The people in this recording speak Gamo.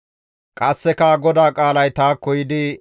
Qasseka GODAA qaalay taakko yiidi,